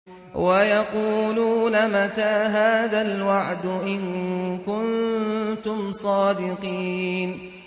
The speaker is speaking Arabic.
وَيَقُولُونَ مَتَىٰ هَٰذَا الْوَعْدُ إِن كُنتُمْ صَادِقِينَ